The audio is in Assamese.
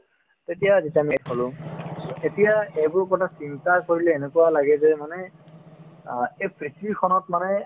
তেতিয়া যেতিয়া ‌ হ'লো so এতিয়া এইবোৰ কথা চিন্তা কৰিলে এনেকুৱা লাগে যে মানে অ এই পৃথিৱীখনত মানে